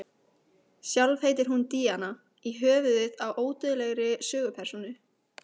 Sjálf heitir hún Díana í höfuðið á ódauðlegri sögupersónu.